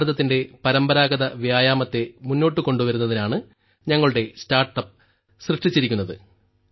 ഭാരതത്തിന്റെ പരമ്പരാഗത വ്യായാമത്തെ മുന്നോട്ട് കൊണ്ടുവരുന്നതിനാണ് ഞങ്ങളുടെ സ്റ്റാർട്ടപ്പ് സൃഷ്ടിച്ചിരിക്കുന്നത്